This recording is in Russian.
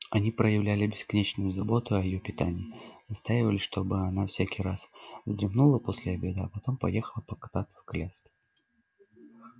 они проявляли бесконечную заботу о её питании настаивали чтобы она всякий раз вздремнула после обеда а потом поехала покататься в коляске